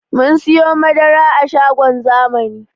Mun siyo madara a shagon zamani